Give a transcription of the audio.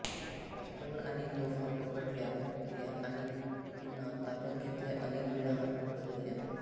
रस्त्यावर आणि तोफा पकडल्या गेल्या आणि पुन्हा ताब्यात घेतल्या अनेक वेळा हात बदलल्या